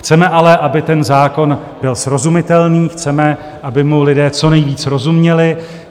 Chceme ale, aby ten zákon byl srozumitelný, chceme, aby mu lidé co nejvíc rozuměli.